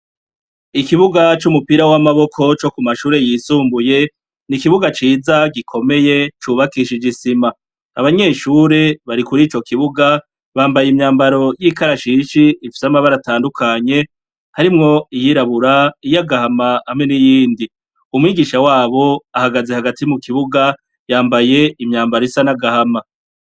Ikibuga c'umupira w'amaboko co ku mashure yisumbuye ni ikibuga ciza gikomeye cubakishije isima abanyeshure bari kuri ico kibuga bambaye imyambaro y'ikarashishi ifisa amabara atandukanye harimwo iyirabura iyo agahama amwe n'iyindi umwigisha wabo ahagaze hagata si mu kibuga yambaye imyambaro isa n'agahama.